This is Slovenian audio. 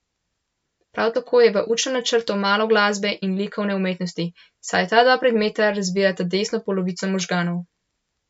Prav tako je v učnem načrtu malo glasbe in likovne umetnosti, saj ta dva predmeta razvijata desno polovico možganov.